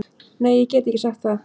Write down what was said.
Nei ég get ekki sagt það.